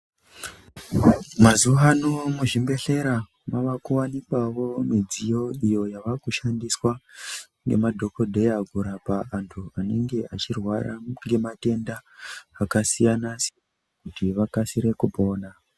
Mazuwano muzvibhedhlera makuwanikwawo mudziyo iyo yakushandiswa nemadhokodheya kurapa antu anenge achirwara ngematenda akasiyana siyana kuti vakasire kupora.